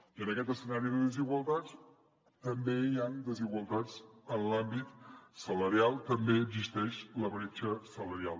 i en aquest escenari de desigualtats també hi han desigualtats en l’àmbit salarial també existeix la bretxa salarial